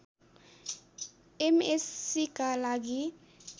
एमएस्सीका लागि